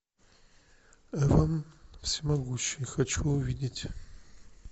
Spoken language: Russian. эван всемогущий хочу увидеть